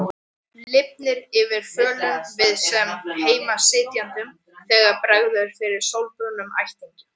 Lifnar yfir fölum við-sem-heima-sitjendum þegar bregður fyrir sólbrúnum ættingja.